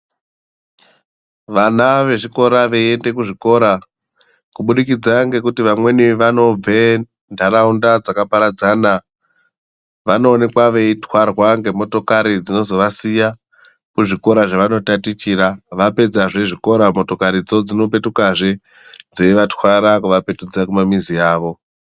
Vana vezvikora veyiende kuzvikora kubukidza ngekuti vamweni vanobve muntaraunda dzakaparadzana vanowonekwa veyitwarwa ngemotokari dzinozovasiya kuzvikora zvavanotatichira .Vapedza zvezvikora motokaridzo dzinopetuka zve dzeyivatwara kuvapetukidza kumamizi avo.